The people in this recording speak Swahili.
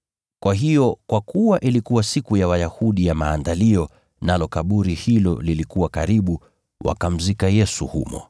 Kwa hiyo, kwa kuwa ilikuwa siku ya Wayahudi ya Maandalio, nalo kaburi hilo lilikuwa karibu, wakamzika Yesu humo.